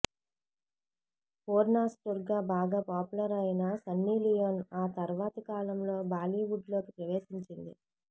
పోర్న్స్టార్గా బాగా పాపులర్ అయిన సన్నీలియోన్ ఆ తర్వాతి కాలంలో బాలీవుడ్ లోకి ప్రవేశించింది